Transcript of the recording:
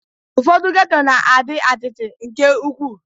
Ụfọdụ geto na-adị atịtị nke ukwu